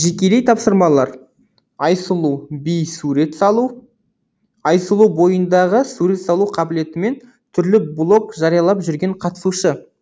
жекелей тапсырмалар айсұлу би сурет салу айсұлу бойындағы сурет салу қабілетімен түрлі блог жариялап жүрген қатысушы